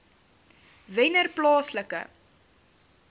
wennerplaaslike